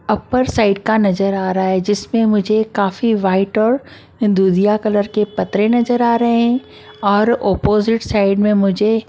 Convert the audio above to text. Upper side का नज़र आ रहा है जिसमें मुझे काफी वाइट और दूधिया कलर के पतरे नज़र आ रहे हैं और अपोजिट साइड में मुझे ।